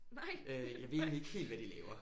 Øh jeg ved egentlig ikke helt hvad de laver